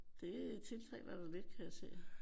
Det tiltaler dig lidt kan jeg se